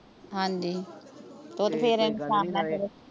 ਹਾਂਜੀ ਤੇ ਓਹ ਤੇ ਫੇਰ ਇਨਸਾਨ